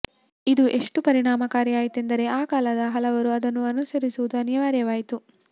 ಇದು ಎಷ್ಟು ಪರಿಣಾಮಕಾರಿ ಆಯ್ತೆಂದರೆ ಆ ಕಾಲದ ಹಲವರು ಅದನ್ನು ಅನುಸರಿಸುವುದು ಅನಿವಾರ್ಯವಾಯಿತು